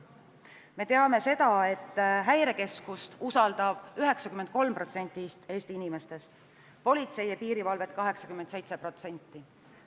Me teame seda, et Häirekeskust usaldab 93% Eesti inimestest, politseid ja piirivalvet 87%.